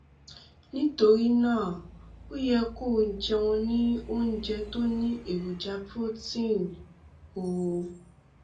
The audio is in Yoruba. nítorí náà o yẹ kó o jẹun ní oúnjẹ tó ní èròjà protein um